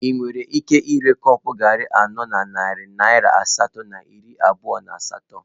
Ị nwere ike ire iko garri anọ na narị naira asatọ na iri abụọ na asatọ?